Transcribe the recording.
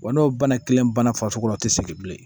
Wa n'o bana kelen bana farisogo la o tɛ sigi bilen